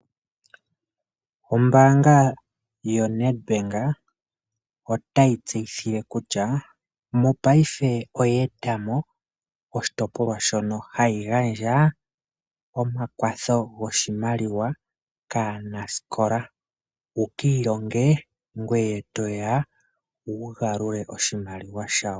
Ombaanga yoNedbank otayi tseyitha kutya mopaife oye etamo oshitpolwa shono hayi gandja omakwatho goshimaliwa kaanasikola, wuki ilonge, ngweye toya wugalule oshimaliwa shaantu.